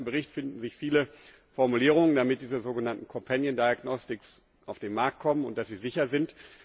In dem ganzen Bericht finden sich viele Formulierungen, damit diese sogenannten companion diagnostics auf den Markt kommen und dass sie sicher sind.